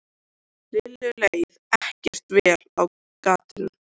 Lillu leið ekkert vel á gatinu.